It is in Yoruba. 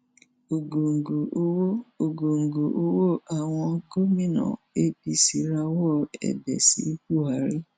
ògòńgò owó ògòńgò owó àwon gómìnà apc rawó èbẹ sí buhari